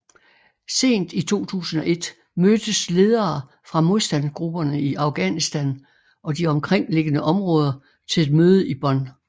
Sent i 2001 mødtes ledere fra modstandsgrupperne i Afghanistan og de omkringliggende områder til et mødte i Bonn